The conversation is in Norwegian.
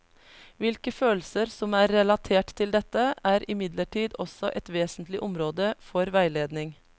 Hvilke følelser som er relatert til dette, er imidlertid også et vesentlig område for veiledning.